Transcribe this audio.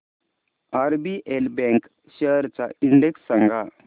RBL bank shares चा index सांगा